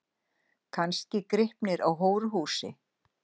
Kannski gripnir á hóruhúsi.